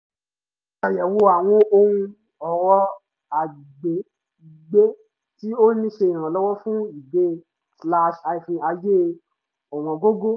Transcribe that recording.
mo ṣàyẹ̀wò àwọn ohun ọrọ̀ agbègbè tí ó ń ṣe ìrànlọ́wọ́ fún ìgbé-ayé ọ̀wọ́ǹgógó